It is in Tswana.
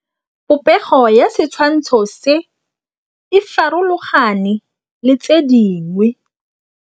Popêgo ya setshwantshô se, e farologane le tse dingwe.